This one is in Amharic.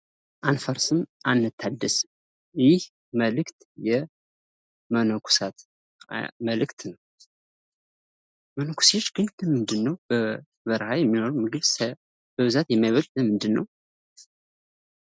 አንፈርስም አንታደስም ይህ መልእክት የመነኮሳት መልእክት ነው። መነኩሴ ግን ለምንድን ነው በበረሃ የሚኖሩት ምግብ በብዛት የማይበሉት ለምንድን ነው?